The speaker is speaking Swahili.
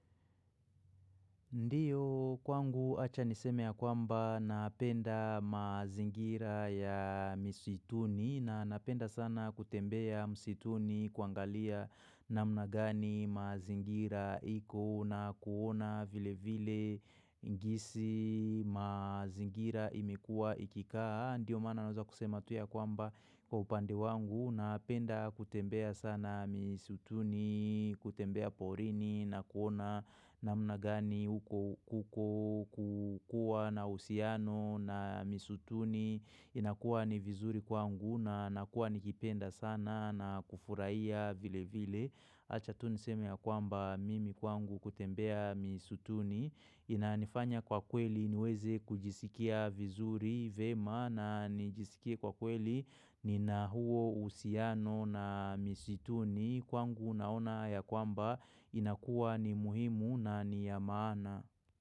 Ndiyo kwangu acha niseme ya kwamba napenda mazingira ya misituni na napenda sana kutembea misituni kuangalia namna gani mazingira iko na kuona vile vile ingisi mazingira imekua ikikaa. Ndiyo maana naweza kusema tu ya kwamba kwa upande wangu na penda kutembea sana misutuni, kutembea porini na kuona na mnagani uko kuko kukua na usiano na misutuni inakuwa ni vizuri kwangu na nakuwa nikipenda sana na kufurahia vile vile. Acha tuniseme ya kwamba mimi kwangu kutembea misutuni Inanifanya kwa kweli niweze kujisikia vizuri vyema na nijisikie kwa kweli ni nahuo uhusiano na misutuni Kwangu unaona ya kwamba inakuwa ni muhimu na niya maana.